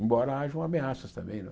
Embora haja ameaças também.